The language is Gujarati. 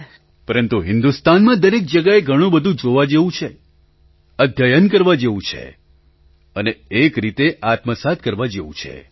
પ્રધાનમંત્રી પરંતુ હિન્દુસ્તાનમાં દરેક જગ્યાએ ઘણું બધું જોવા જેવું છે અધ્યયન કરવા જેવું છે અને એક રીતે આત્માને સાફ કરવા જેવું છે